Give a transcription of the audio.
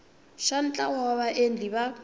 xa ntlawa wa vaendli va